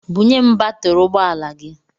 Bunye m batiri ụgbọala gị!